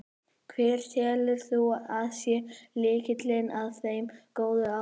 Hver telur þú að sé lykillinn að þeim góða árangri?